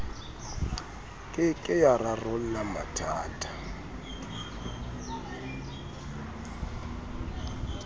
ke ke ya rarolla mathata